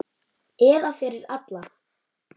Eða fyrir alla.